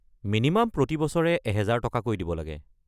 Minimum প্ৰতি বছৰে ১০০০ টকাকৈ দিব লাগে।